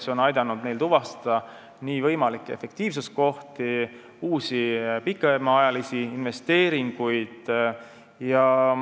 See on aidanud neil tuvastada võimalikke efektiivsuskohti ja teha uusi pikemaajalisi investeeringuid.